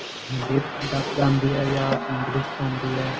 Hindi dubbed ਆਉਂਦੀ ਹੈ ਜਾਂ English ਚ ਹੁੰਦੀ ਏ